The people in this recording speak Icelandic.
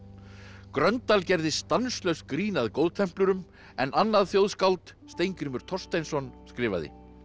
Gröndal gerði stanslaust grín að en annað þjóðskáld Steingrímur Thorsteinsson skrifaði